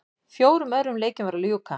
Fjórum öðrum leikjum var að ljúka